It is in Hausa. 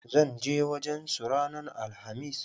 ZAn je wajen su ranan alhamis.